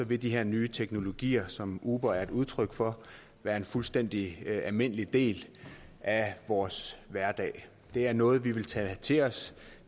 vil de her nye teknologier som uber er et udtryk for være en fuldstændig almindelig del af vores hverdag det er noget vi vil tage til os